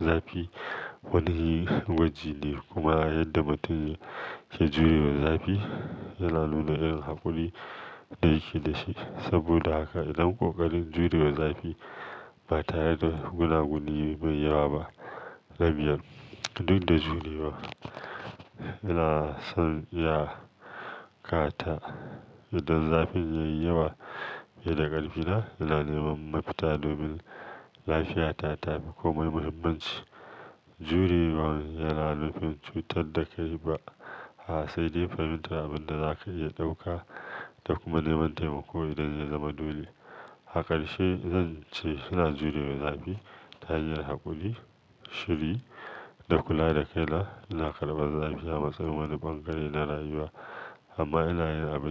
Zafi wani gwaji ne kuma yadda mutum yake jurewa zafi yana nuna irin haƙuri da yake da shi. Saboda haka idan ƙoƙarin jurewa zafi ba tare da gunaguni mai yawa ba, na biyar duk da jurewa ina son iya ƙata idan zafin ya yi yawa. Beda ƙarfina ina nema mafita domin lafiyata ta fi komai muhimmanci. Jurewa yana nufin cutar da kai ba, a, sai dai fahimtar abin da zaka iya ɗauka da kuma nema taimako idan zai zama dole. A karshe zan ce ina jurewa zafi ta hanyar haƙuri, shiri da kula da kai na. Ina karɓar zafi a matsayin wani ɓangare na rayuwa amma ina yin abin da-